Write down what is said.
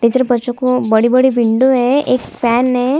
Teacher बच्चों को बड़ी - बड़ी विंडो है एक फैन है।